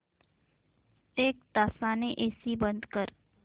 एक तासाने एसी बंद कर